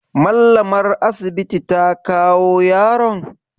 Mallamar asibiti ta kawo yaron?